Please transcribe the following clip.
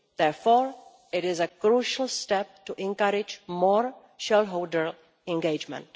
Therefore it is a crucial step to encourage more shareholder engagement.